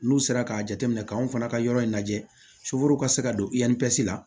N'u sera k'a jateminɛ k'an fana ka yɔrɔ in lajɛ ka se ka don la